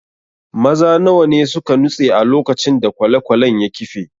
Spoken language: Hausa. Maza nawa ne suka nutse a lokacin da kwale-kwalen ya kife?